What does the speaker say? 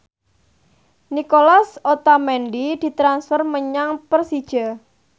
Nicolas Otamendi ditransfer menyang Persija